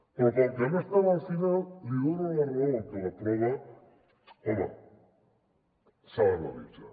però com que no estava al final li dono la raó en què la prova home s’ha d’analitzar